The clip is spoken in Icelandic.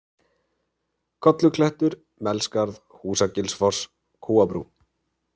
Kolluklettur, Melskarð, Húsagilsfoss, Kúabrú